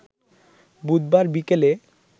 বুধবার বিকেলে